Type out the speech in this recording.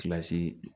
Kilasi